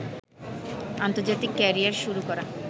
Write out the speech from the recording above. আন্তর্জাতিক ক্যারিয়ার শুরু করা